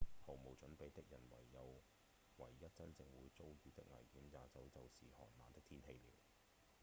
毫無準備的人唯一真正會遭遇的危險也許就只有寒冷的天氣了